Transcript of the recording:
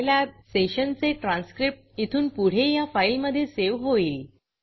Scilabसाईलॅब सेशनचे ट्रान्स्क्रिप्ट इथून पुढे ह्या फाईलमधे सेव्ह होईल